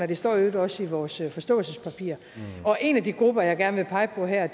det står i øvrigt også i vores forståelsespapir og en af de grupper jeg gerne vil pege på her